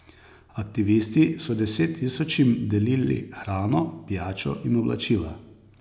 Aktivisti so desettisočim delili hrano, pijačo in oblačila.